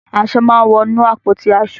Aṣọ máa ń wọ inú àpótí aṣọ.